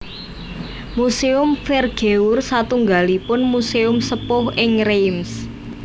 Muséum Vergeur satunggalipun muséum sepuh ing Reims